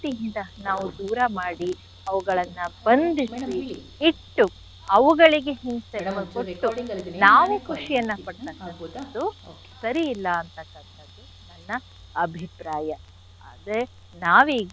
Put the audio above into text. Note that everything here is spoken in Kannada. ಯಿಂದ ನಾವು ದೂರ ಮಾಡಿ ಅವುಗಳನ್ನ ಬಂಧಿಸಿ ಇಟ್ಟು ಅವುಗಳಿಗೆ ಹಿಂಸೆಯನ್ನ ಕೊಟ್ಟು ನಾವು ಖುಷಿಯನ್ನ ಪಡ್ತಕ್ಕಂಥದ್ದು ಸರಿ ಇಲ್ಲ ಅಂಥಕ್ಕಂಥದ್ದು ನನ್ನ ಅಭಿಪ್ರಾಯ ಆದ್ರೆ ನಾವೀಗ.